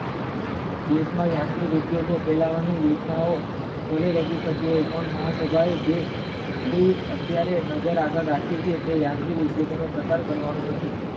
દેશના યાંત્રિક ઉદ્યોગો સોલવાની યોજનાઓ ભલે રજુ થતી હોય પણ મહા સજા જે અત્યરે નજર આગળ રાખી છે તે યાંત્રિક ઉદ્યોગોના પ્રકારે કરવાના નથી